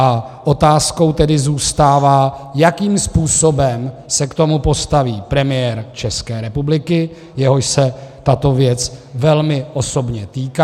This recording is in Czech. A otázkou tedy zůstává, jakým způsobem se k tomu postaví premiér České republiky, jehož se tato věc velmi osobně týká.